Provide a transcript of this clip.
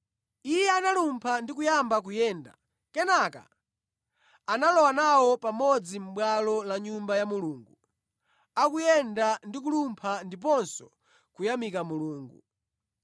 Iye analumpha ndi kuyamba kuyenda. Kenaka analowa nawo pamodzi mʼbwalo la Nyumba ya Mulungu, akuyenda ndi kulumpha ndiponso kuyamika Mulungu.